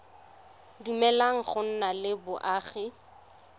dumeleleng go nna le boagi